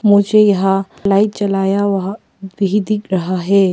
मुझे यहां लाइट जलाया वहा भी दिख रहा है।